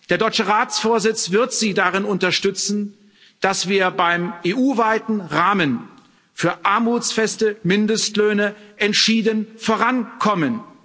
Der deutsche Ratsvorsitz wird Sie darin unterstützen, dass wir beim EU weiten Rahmen für armutsfeste Mindestlöhne entschieden vorankommen.